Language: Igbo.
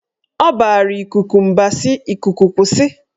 Ọ bara ikuku mba si"Ikuku kwụsị!